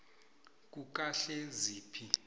kukahleziphi